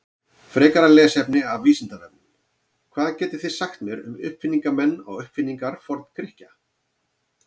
Frekara lesefni af Vísindavefnum: Hvað getið þið sagt mér um uppfinningamenn og uppfinningar Forngrikkja?